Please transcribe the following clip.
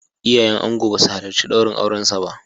Iyayen angon ba su halarci daurin aurensa ba.